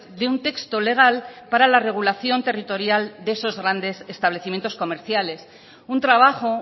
de un texto legal para la regulación territorial de esos grandes establecimientos comerciales un trabajo